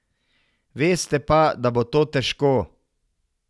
Veste pa, da bo to težko.